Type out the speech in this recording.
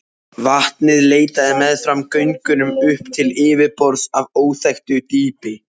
Vatnið leitaði meðfram göngunum upp til yfirborðs af óþekktu dýpi.